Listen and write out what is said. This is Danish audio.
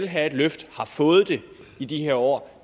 have et løft og har fået det i de her år